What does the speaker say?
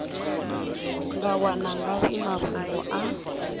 nga wana ngafhi mafhungo a